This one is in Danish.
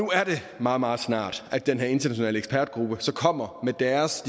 meget meget snart at den her internationale ekspertgruppe kommer med deres